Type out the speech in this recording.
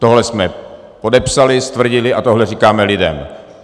Tohle jsme podepsali, stvrdili a tohle říkáme lidem.